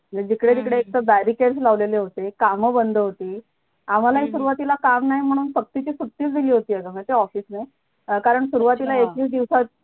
म जिकडे तिकडे एक तर barricades लावलेले होते काम बंद होती, आम्हालाही सुरवातीला काम नाही म्हणून सक्तीची सुट्टीच दिली होती अग माहितीये office ने अं कारण सुरवातीला एकवीस दिवसा